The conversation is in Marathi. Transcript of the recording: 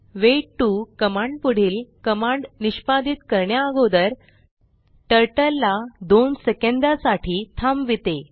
वेट 2 कमांड पुढील कमांड निष्पादीत करण्या अगोदर टर्टल ला 2 सेकंदा साठी थांबविते